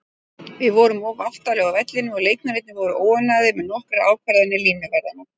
Við vorum of aftarlega á vellinum og leikmennirnir voru óánægðir með nokkrar ákvarðanir línuvarðanna.